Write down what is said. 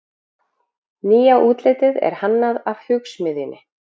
nýja útlitið er hannað af hugsmiðjunni